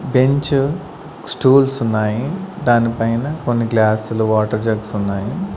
Bench stools ఉన్నాయి దానిపైన కొన్ని గ్లాసు లు వాటర్ జగ్స్ ఉన్నాయి.